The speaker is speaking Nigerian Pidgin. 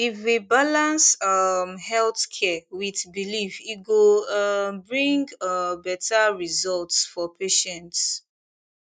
if we balance um health care with belief e go um bring um better results for patients